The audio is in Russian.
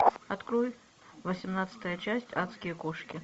открой восемнадцатая часть адские кошки